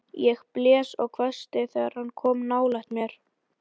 Ég blés og hvæsti þegar hann kom nálægt mér.